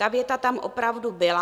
Ta věta tam opravdu byla.